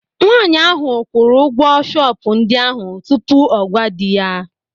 Nwaanyị ahụ kwụrụ ụgwọ shọpụ ndị ahụ tupu ọ gwa dị ya.